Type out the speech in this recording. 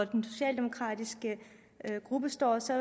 den socialdemokratiske gruppe står så